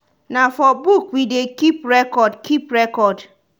na for book we dey keep record. keep record.